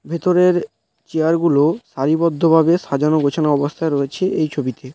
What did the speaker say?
ভেতরের চেয়ার গুলো সারিবদ্ধভাবে সাজানো গোছানো অবস্থায় রয়েছে এই ছবিতে |